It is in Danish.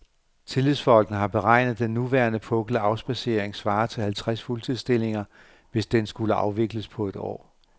Tillidsfolkene har beregnet, at den nuværende pukkel af afspadsering svarer til halvtreds fuldtidsstillinger, hvis den skulle afvikles på et år.